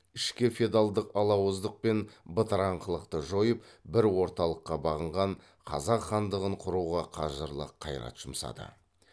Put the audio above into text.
ішкі феодалдық алауыздық пен бытыраңқылықты жойып бір орталыққа бағынған қазақ хандығын құруға қажырлы қайрат жұмсады